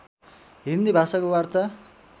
हिन्दी भाषाको वार्ता